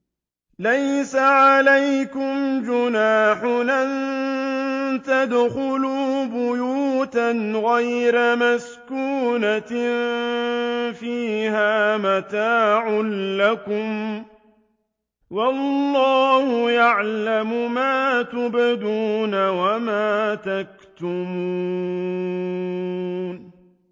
لَّيْسَ عَلَيْكُمْ جُنَاحٌ أَن تَدْخُلُوا بُيُوتًا غَيْرَ مَسْكُونَةٍ فِيهَا مَتَاعٌ لَّكُمْ ۚ وَاللَّهُ يَعْلَمُ مَا تُبْدُونَ وَمَا تَكْتُمُونَ